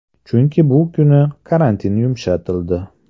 Chunki bu kuni karantin yumshatildi.